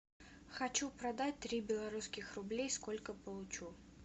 хочу продать три белорусских рублей сколько получу